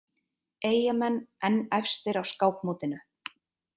Eyjamenn enn efstir á skákmótinu